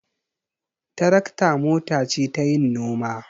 Tarakta mota ce tayin noma.